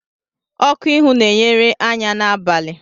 Oku ihu na-enyere anya n'abalị.